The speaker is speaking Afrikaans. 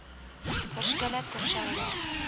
verskille ter syde